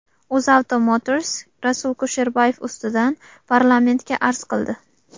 UzAuto Motors Rasul Kusherbayev ustidan parlamentga arz qildi.